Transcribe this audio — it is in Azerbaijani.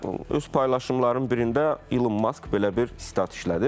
Və öz paylaşımların birində Elon Mask belə bir sitat işlədib.